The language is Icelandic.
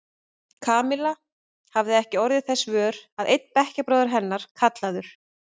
Kamilla hafði ekki orðið þess vör að einn bekkjarbróðir hennar, kallaður